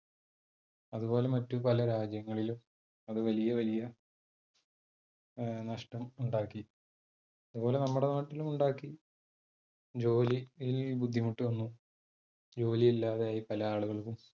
അതു പോലെ മറ്റ് പല രാജ്യങ്ങളിലും, അതു വലിയ വലിയ നഷ്ടം ഉണ്ടാക്കി. അതുപോലെ നമ്മുടെ നാട്ടിലും ഉണ്ടാക്കി, ജോലിയിൽ ബുദ്ധിമുട്ട് വന്നു, ജോലി ഇല്ലാതെ ആയി പല ആളുകൾക്കും.